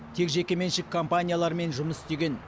тек жекеменшік компаниялармен жұмыс істеген